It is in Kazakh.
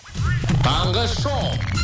таңғы шоу